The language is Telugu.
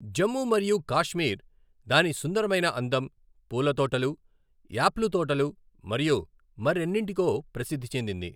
జమ్మూ మరియు కాశ్మీర్ దాని సుందరమైన అందం, పూల తోటలు, యాప్లు తోటలు మరియు మరెన్నింటికో ప్రసిద్ధి చెందింది.